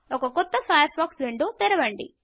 ఒక కొత్త Firefox window తెరవండి